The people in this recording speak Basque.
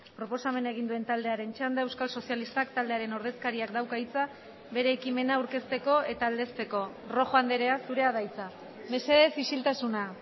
proposamena egin duen taldearen txanda euskal sozialistak taldearen ordezkariak dauka hitza bere ekimena aurkezteko eta aldezteko rojo andrea zurea da hitza mesedez isiltasuna